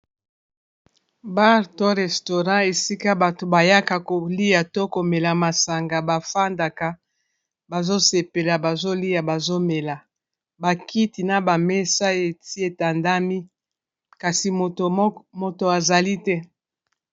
Bar to restaurant esika bato bayaka kolia to komela masanga ba fandaka bazo sepela ba zolia bazo mela ba kiti na ba mesa eti etandami kasi moto azali te.